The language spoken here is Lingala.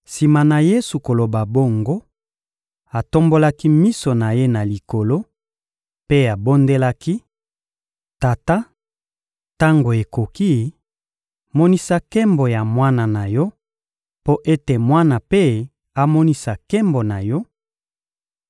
Sima na Yesu koloba bongo, atombolaki miso na Ye na Likolo mpe abondelaki: Tata, tango ekoki; monisa nkembo ya Mwana na Yo mpo ete Mwana mpe amonisa nkembo na Yo;